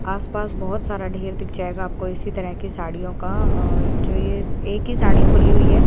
आस पास बहुत सारा ढेर दिख जाएगा आपको इसी तरह की साड़ियों का और जो ये एक ही साड़ी खुली हुई है।